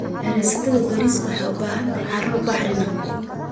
Beerista bariiska waxay u baahan tahay carro bacrin ah.